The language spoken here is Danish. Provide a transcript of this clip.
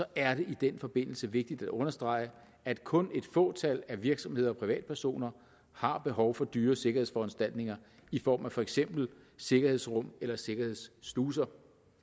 er det i den forbindelse vigtigt at understrege at kun et fåtal af virksomheder og privatpersoner har behov for dyre sikkerhedsforanstaltninger i form af for eksempel sikkerhedsrum eller sikkerhedssluser